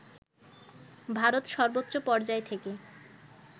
ভারত সর্বোচ্চ পর্যায় থেকে